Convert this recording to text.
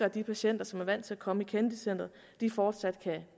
at de patienter som er vant til at komme i kennedy centret fortsat